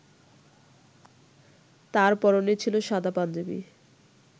তার পরনে ছিল সাদা পাঞ্জাবি